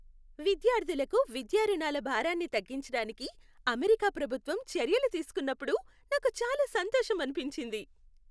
విద్యార్ధులకు విద్యా రుణాల భారాన్ని తగ్గించడానికి అమెరికా ప్రభుత్వం చర్యలు తీసుకున్నప్పుడు నాకు చాలా సంతోషం అనిపించింది.